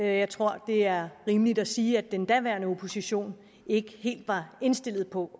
jeg tror det er rimeligt at sige at den daværende opposition ikke helt var indstillet på